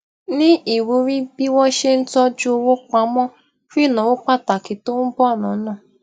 ní ìwúrí bí wón ṣe ń tójú owó pamọ fún ìnáwó pàtàkì tó n bọ lọnà